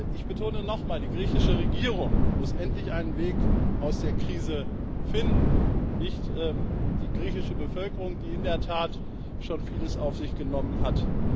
Ich betone nochmal Die griechische Regierung muss endlich einen Weg aus der Krise finden nicht die griechische Bevölkerung, die in der Tat schon vieles auf sich genommen hat.